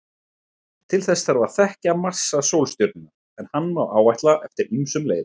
Til þess þarf að þekkja massa sólstjörnunnar, en hann má áætla eftir ýmsum leiðum.